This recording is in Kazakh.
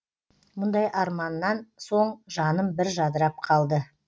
мұндай арманнан соң жаным бір жадырап қалды